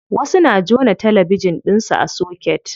Wasu na jona talabijin ɗinsu a soket.